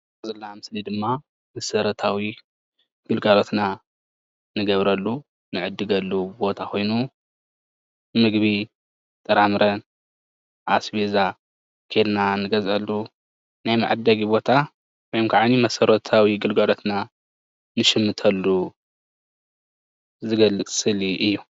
እዚ እንሪኦ ዘለና ኣብ ምስሊ ድማ መሰረታዊ ግልጋሎትና እንገብረሉ እንዕድገሉ ቦታ ኮይኑ ምግቢ፣ ጥራምረን ኣሰቤዛ ከይድና እንገዝአሉ ናይ መዐደጊ ቦታወይ ከዓ መሰረታዊ ግልጋሎትና እንሽምተሉ ዝገልፅ ስእሊ እዩ፡፡